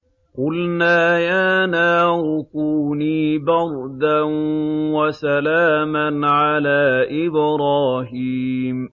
قُلْنَا يَا نَارُ كُونِي بَرْدًا وَسَلَامًا عَلَىٰ إِبْرَاهِيمَ